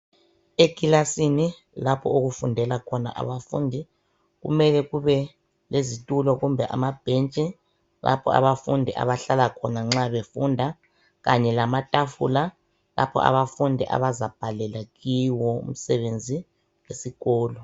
Ekilasini lapho okufundela khona abafundi kumele kube lezitulo kumbe amabhentshi lapho abafundi abazahlala khona nxa befunda. Kanye lamatafula lapho abafundi abazabhalela khona kiwo umsebenzi wesikolo.